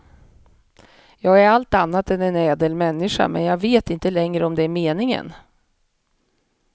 Jag är allt annat än en ädel människa men jag vet inte längre om det är meningen.